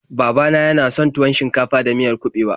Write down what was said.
Baba na yana son tuwon shinkafa da miyar kuɓewa.